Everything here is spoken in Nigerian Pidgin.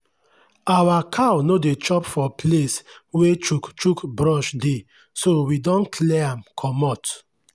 our cow no dey chop for place wey chukchuk brush dey so we don clear am comot.